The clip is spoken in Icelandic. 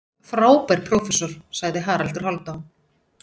Frábær prófessor, sagði Haraldur Hálfdán.